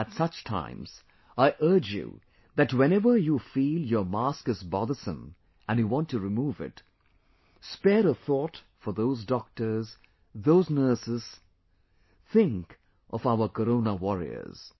At such times, I urge you that whenever you feel your mask is bothersome and you want to remove it, spare a thought for those doctors, those nurses; think of our Corona warriors